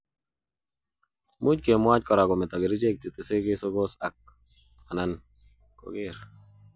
Much kemwoch kora kometo kerichek chetese kesokos ak/anan koner.